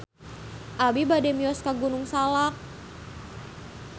Abi bade mios ka Gunung Salak